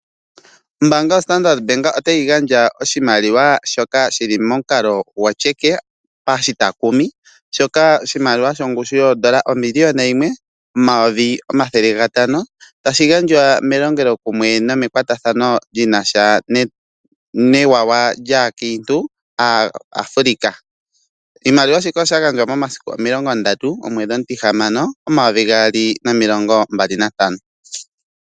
Ombanga yoStandardbank otayi gandja oshimaliwa shoka shili momukalo gwoCheque pashitakumi shoka oshimaliwa shongushu yondola 1500000 tashi gandjwa melongelo kumwe nome kwatathano ndjina sha newawa lyakintu yAfrica oshimaliwa shika osha gandjwa 30/06/2025.